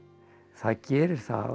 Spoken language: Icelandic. það gerir það